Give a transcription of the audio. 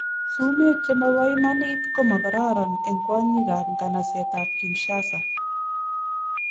Sumek che mabo imanit komakoron en kwanyik ab nganset a Kinshasa